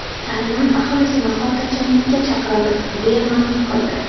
Tayvan aholisini xotirjamlikka chaqiramiz”, deya ma’lum qildi.